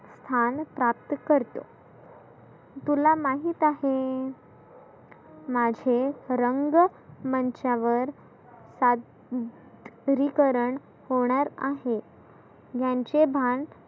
स्थान प्राप्त करतो. तुला माहित आहे मासे रंग मंचावर सादरीकरण होणार आहे ज्यांचे भान.